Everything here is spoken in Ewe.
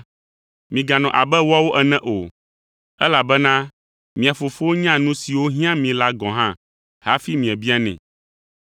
Miganɔ abe woawo ene o, elabena mia Fofo nya nu siwo hiã mi la gɔ̃ hafi miebianɛ.